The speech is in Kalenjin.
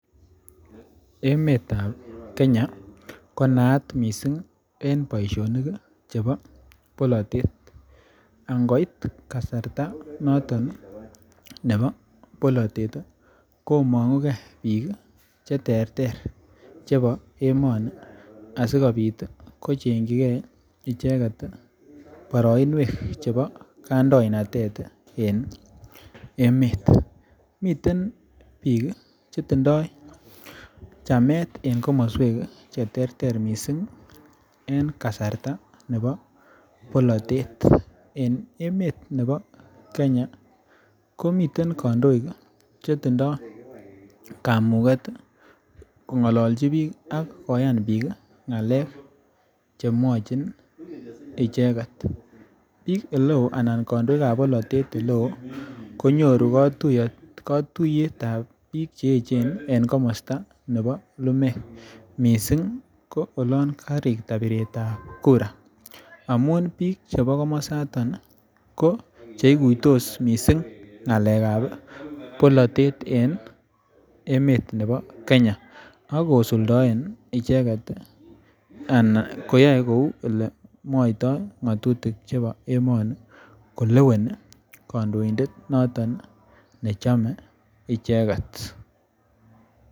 Emetab Kenya ko naat missing en boisionik chebo bolotet angoit kasarta noton nebo bolotet komong'ugee biik ih cheterter chebo emoni asikobit kochengyigee boroinwek chebo kandoindet en emet miten biik chetindoo chamet en komoswek cheterter missing en kasarta nebo bolotet. En emet nebo Kenya komiten kandoik chetindoo kamuget kong'olonchi biik ak koyan biik ng'alek chemwochin icheket, biik eleoo ana kandoik eleoo konyoru katuiyet ab biik cheechen en komosta nebo lumek missing ko olon karikta biretab kura amun biik chebo komosaton ko cheikuitos missing ng'alek ab bolotet en emet nebo Kenya ak kosuldoen icheket ana koyoe kou elemwoitoo ng'otutik chebo emoni koleweni kandoindet noton nechome icheket